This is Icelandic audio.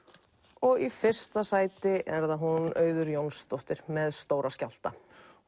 og í fyrsta sæti er það Auður Jónsdóttir með Stóra skjálfta